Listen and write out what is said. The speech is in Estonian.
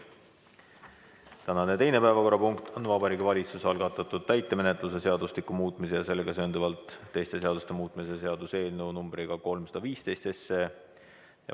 Tänane teine päevakorrapunkt on Vabariigi Valitsuse algatatud täitemenetluse seadustiku muutmise ja sellega seonduvalt teiste seaduste muutmise seaduse eelnõu numbriga 315.